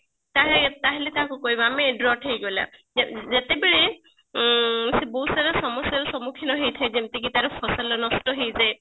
ତାହେଲେ ତାହେଲେ ତାକୁ କହିବା ଆମେ ହେଇଗଲା agorot ହେଇଗଲା ଯେ ଯେତେବେଳେ ଉଁ ସେ ବହୁତ ସାରା ସମସ୍ଯା ର ସମୁଖୀନ ହେଇଥାଏ ଯେମତି କି ତାର ଫସଲ ନଷ୍ଟ ହେଇଯାଏ